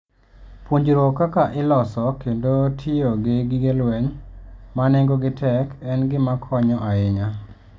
Puonjruok kaka iloso kendo tiyo gi gige lweny ma nengogi tek en gima konyo ahinya.